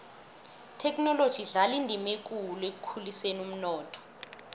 ithekhinoloji idlala indima ekulu ekukhuliseni umnotho